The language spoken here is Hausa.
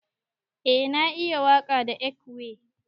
Eh na iya waka da ekwe.